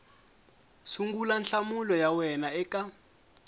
sungula nhlamulo ya wena eka